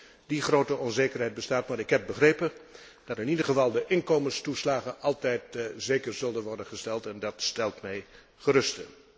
Wat dat betreft blijft er grote onzekerheid bestaan, maar ik heb begrepen dat in ieder geval de inkomenstoeslagen altijd zeker zullen worden gesteld, en dat stelt mij gerust.